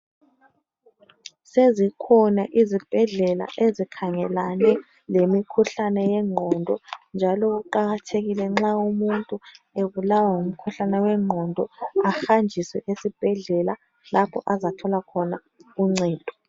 Sezikhona izibhedlela ezikhangelane lemkhuhlane yengqondo njalo kuqakathekile nxa umuntu ebulawa ngumkhuhlane wengqondo ahanjiswe esibhedlela lapho azathola khona uncedo.